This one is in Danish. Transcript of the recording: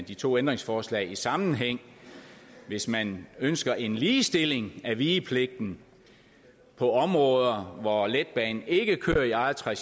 de to ændringsforslag i sammenhæng hvis man ønsker en ligestilling af vigepligten på områder hvor letbanen ikke kører i eget tracé